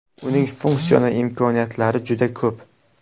Uning funksional imkoniyatlari juda ko‘p.